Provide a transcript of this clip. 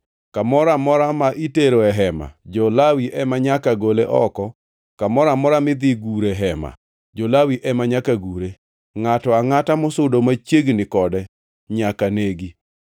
Kamoro amora ma itero e Hema, jo-Lawi ema nyaka gole oko, kendo kamoro amora midhi gure Hema, jo-Lawi ema nyaka gure. Ngʼato angʼata mosudo machiegni kode nyaka negi.